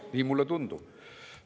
Nii mulle tundub.